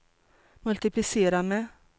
multiplicera med